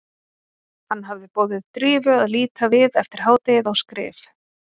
Hann hafði boðið Drífu að líta við eftir hádegið á skrif